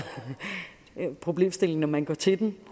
problemstillingen når man går til den